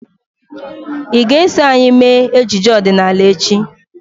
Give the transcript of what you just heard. Ị ga-eso anyị mee ejije ọdịnala echi?